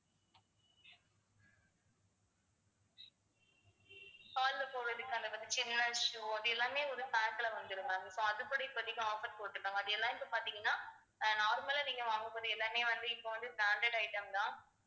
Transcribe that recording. கால்ல போடறதுக்கான அந்த சின்ன shoe அது எல்லாமே ஒரு pack ல வந்துரும் ma'am so அதுபடி இப்போதைக்கு offer போட்டிருந்தாங்க அது எல்லாம் இப்ப பாத்தீங்கன்னா ஆஹ் normal லா நீங்க வாங்கக்கூடிய எல்லாமே வந்து இப்ப வந்து branded item தான்